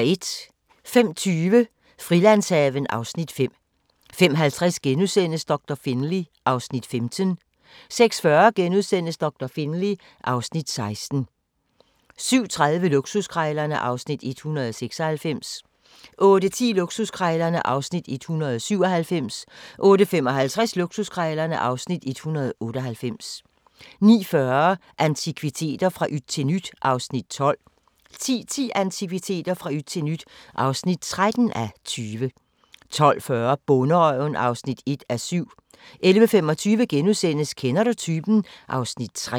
05:20: Frilandshaven (Afs. 5) 05:50: Doktor Finlay (Afs. 15)* 06:40: Doktor Finlay (Afs. 16)* 07:30: Luksuskrejlerne (Afs. 196) 08:10: Luksuskrejlerne (Afs. 197) 08:55: Luksuskrejlerne (Afs. 198) 09:40: Antikviteter – fra yt til nyt (12:20) 10:10: Antikviteter – fra yt til nyt (13:20) 10:40: Bonderøven (1:7) 11:25: Kender du typen? (Afs. 3)*